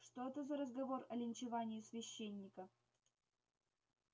что это за разговор о линчевании священника